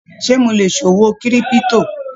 Ṣe mo lè ṣòwò kírípútò?